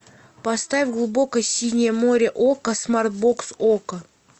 поставь глубокое синее море окко смарт бокс окко